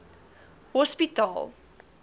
hospitaal